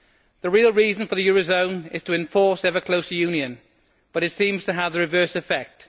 The real reason for the euro zone is to enforce ever closer union, but it seems to have the reverse effect.